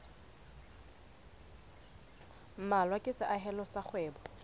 mmalwa ke seahelo sa kgwebo